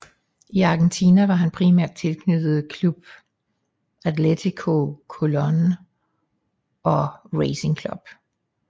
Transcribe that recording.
I Argentina var han primært tilknyttet Club Atlético Colón og Racing Club